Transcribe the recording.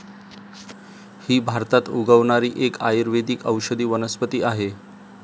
ही भारतात उगवणारी एक आयुर्वेदिक औषधी वनस्पती आहे.